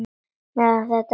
Meðan það er heitt.